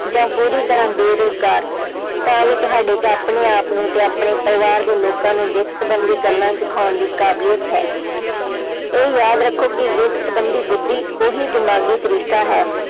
ਜਾਂ ਪੂਰੀ ਤਰ੍ਹਾਂ ਬੇਰੁਜ਼ਗਾਰ ਤਾਂ ਵੀ ਤੁਹਾਡੇ 'ਚ ਆਪਣੇ ਆਪਨੂੰ ਤੇ ਆਪਣੇ ਪਰਿਵਾਰ ਦੇ ਲੋਕਾਂ ਨੂੰ ਵਿੱਤ ਸੰਬੰਧੀ ਗੱਲਾਂ ਸਿਖਾਉਣ ਦੀ ਕਾਬਲੀਅਤ ਹੈ ਇਹ ਯਾਦ ਰੱਖੋ ਕਿ ਵਿੱਤ ਸੰਬੰਧੀ ਬੁੱਧੀ ਉਹੀ ਦਿਮਾਗੀ ਤਰੀਕਾ ਹੈ